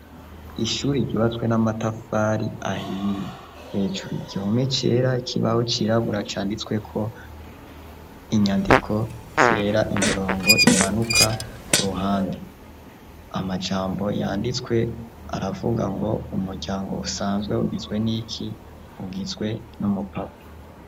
Ishure ryubatswe n'amatafari ahiye. Hejuru igihome cera. Ikibaho cirabura canditswe ko inyandiko zera. Imirongo imanuka ku ruhande. Amajambo yanditswe aravuga ngo: "umuryango usanzwe ugizwe n'iki? Ugizwe n'umupapa."